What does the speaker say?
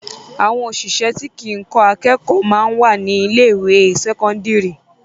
Àwọn òṣìṣẹ́ tí kìí kọ́ akẹ́kọ̀ọ́ máa ń wà ní ilé ìwé sẹ́kọ́ńdírì.